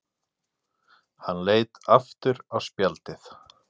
Hann leit aftur á spjaldið.